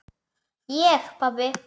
Ég pabbi!